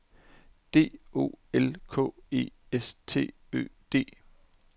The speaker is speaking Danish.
D O L K E S T Ø D